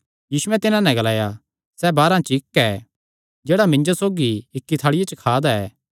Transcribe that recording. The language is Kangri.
यीशुयैं तिन्हां नैं ग्लाया सैह़ बारांह च इक्क ऐ जेह्ड़ा मिन्जो सौगी इक्की थाल़िया च खा दा ऐ